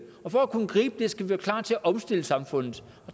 og for at kunne gribe det skal vi være klar til at omstille samfundet